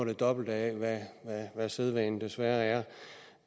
det dobbelte af hvad sædvane desværre